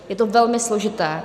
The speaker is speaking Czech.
Je to velmi složité.